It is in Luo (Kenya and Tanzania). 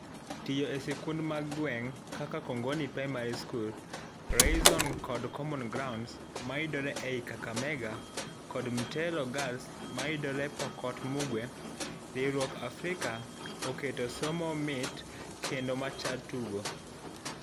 Tiyo e sikunde mag gweng'kaka Kongoni Primary School, Rayzone kod Common Grounds mayudre ei Kakamega kod Mtelo Girls mayudre Pokot Mugwe, riwruok Africa oketo somo mit kendo machal tuigo.